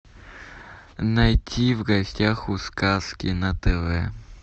найти в гостях у сказки на тв